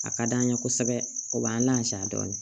A ka d'an ye kosɛbɛ o b'an lansaya dɔɔni